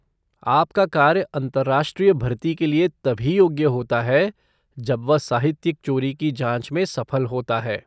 आपका कार्य अंतरराष्ट्रीय भर्ती के लिए तभी योग्य होता है जब वह साहित्यिक चोरी की जाँच में सफल होता है।